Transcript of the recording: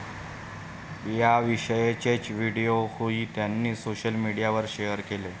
याविषयीचेच व्हिडिओही त्यांनी सोशल मीडियावर शेअर केले.